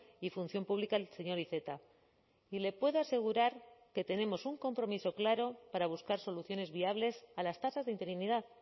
y función pública el señor iceta y le puedo asegurar que tenemos un compromiso claro para buscar soluciones viables a las tasas de interinidad